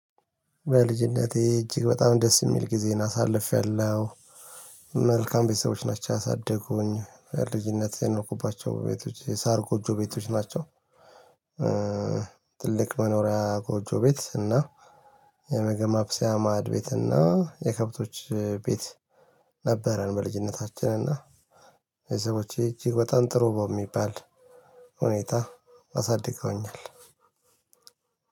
በልጅነቴ እጅግ በጣም ደስ የሚል ጊዜን አሳልፌያለሁ። መልካም ቤተሰቦች ናቸው ያሳደጉኝ ልጅነቴን የኖርኩባቸው ቤቶች የሳር ጎጆ ቤቶች ናቸው። ትልቅ መኖሪያ ጎጆ ቤት እና የምግብ ማብሰያ ማዐድቤት እና የከብቶች ቤት ነበረን። በልጅነታችን እና የቤተሰቦቼ እጅግ በጣም ጥሩ ባው በሚባል ሁኔታ አሳድገውኛል።